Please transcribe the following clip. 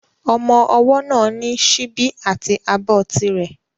Ọmọ ọwọ́ náà ní síbi àti abọ́ ti rẹ̀